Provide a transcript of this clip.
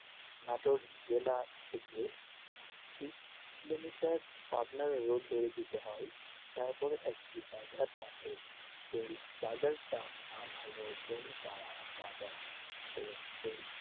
জেলা থেকে বিশ কিলোমিটার আপনার road ধরে যেতে হয় তারপরে একটি বাজার এর পাশে সেই বাজার টার নাম হলো বনপাড়া বাজার তো সেই